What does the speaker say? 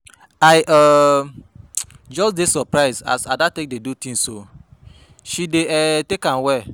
I um just dey surprised as Ada dey take dis thing oo, she dey um take am well